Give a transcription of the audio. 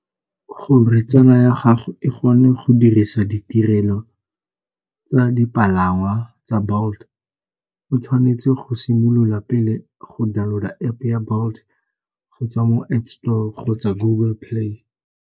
Gore tsala ya gago e gone go dirisa ditirelo tsa dipalangwa tsa Bolt o tshwanetse go simolola pele go download-a App-e ya Bolt go tswa mo App Store kgotsa Google Play.